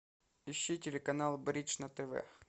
ищи телеканал бридж на тв